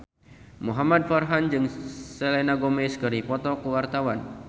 Muhamad Farhan jeung Selena Gomez keur dipoto ku wartawan